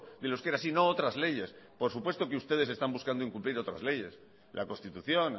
del euskera sino otras leyes por supuesto que ustedes están buscando incumplir otras leyes la constitución